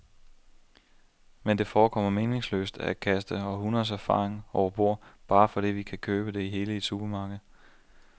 Men det forekommer meningsløst at kaste århundreders erfaring overbord, bare fordi vi kan købe det hele i supermarkedet.